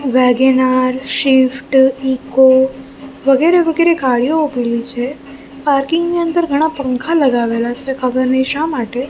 WagonR Swift Eeco વગેરે વગેરે ગાડીઓ ઉભેલી છે પાર્કિંગ ની અંદર ઘણા પંખા લગાવેલા છે ખબર નય શા માટે.